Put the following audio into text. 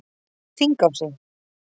Þingási